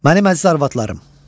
Mənim əziz arvadlarım!